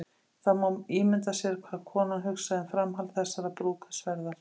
Það má ímynda sér hvað konan hugsaði um framhald þessarar brúðkaupsferðar.